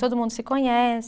Todo mundo se conhece.